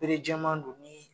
Bere jɛman don